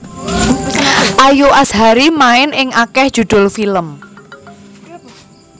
Ayu Azhari main ing akéh judhul film